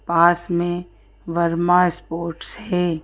पास में वर्मा स्पोर्ट्स है।